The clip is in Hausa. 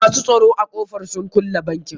Masu tsoron a ƙofar sun kulle bankin.